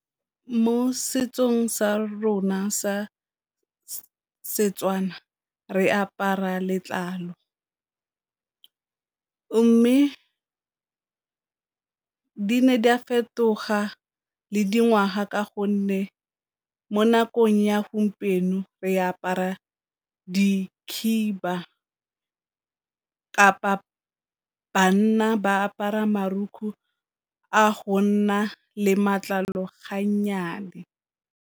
Mo setsong sa rona sa Setswana re apara letlalo, mme di ne di a fetoga le dingwaga ka gonne mo nakong ya gompieno re apara dikhiba, kapa banna ba apara a go nna le matlalo .